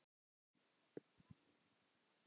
Sértu kært kvödd, elsku frænka.